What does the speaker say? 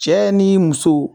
Cɛ ni muso